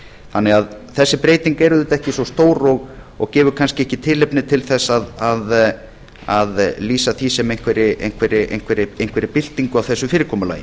þannig að þessi breyting er auðvitað ekki svo stór og gefur kannski ekki tilefni til þess að lýsa því sem einhverri byltingu á þessu fyrirkomulagi